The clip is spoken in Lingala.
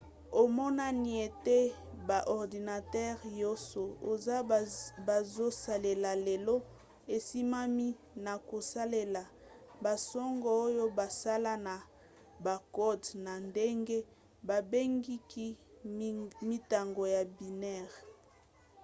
emonani ete ba ordinatere nyonso oyo bazosalela lelo esimbami na kosalela basango oyo basala na bakode na ndenge babengki mintango ya binaire